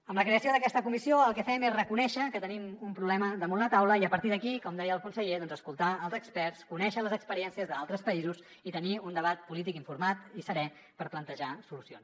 amb la creació d’aquesta comissió el que fem és reconèixer que tenim un problema damunt la taula i a partir d’aquí com deia el conseller doncs escoltar els experts conèixer les experiències d’altres països i tenir un debat polític informat i serè per plantejar solucions